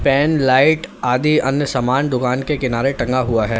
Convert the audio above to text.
N light आदि अन्य सामान दुकान के किनारे टंगा हुआ है।